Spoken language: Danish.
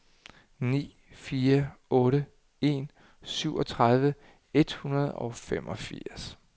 ni fire otte en syvogtredive et hundrede og femogfirs